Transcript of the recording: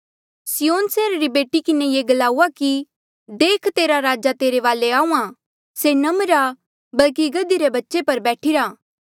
सिय्योन सैहरा री बेटी किन्हें ये ग्लाऊआ देख तेरा राजा तेरे वाले आहूँआं से नम्र आ होर गधे पर बैठिरा बल्कि गधे रे बच्चे पर बैठिरा